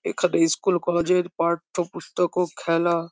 এখানে স্কুল কলেজে -এর পাঠ্য ও পুস্তকও খেলা--